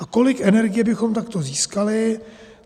A kolik energie bychom takto získali?